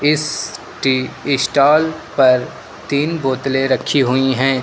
इस tea stall पर तीन बोतलें रखी हुई हैं।